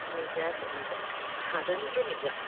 ನಿಜ sir ನಿಜ ಅದಂತು ನಿಜ.